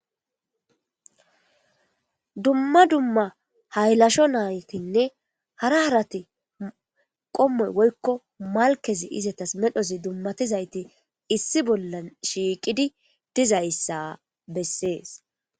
Duma duma haylasho nayti hara harati qomoy woyko malkezi izetas medhodizi izetas dumatizayti issi bolan shiqidi dizaysa beses.